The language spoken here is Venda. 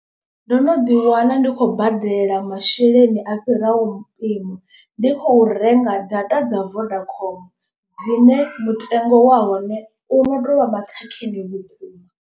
Ndo no ḓi wana ndi khou badela masheleni a fhiraho mpimo. Ndi khou renga data dza vodacom dzine mutengo wa hone u no to vha maṱhakheni vhukuma.